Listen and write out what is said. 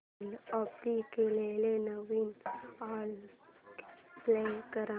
काल कॉपी केलेला नवीन अल्बम प्ले कर